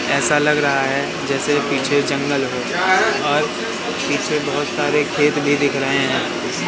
ऐसा लग रहा है जैसे पीछे जंगल हो और पीछे बहोत सारे खेत भी दिख रहे हैं।